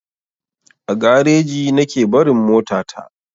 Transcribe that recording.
A gareji nake barin mota ta.